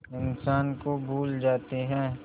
इंसान को भूल जाते हैं